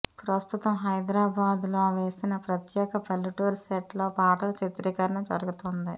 ప్రస్తుతం హైదరాబాద్లో వేసిన ప్రత్యేక పల్లెటూరి సెట్లో పాటల చిత్రీకరణ జరుగుతోంది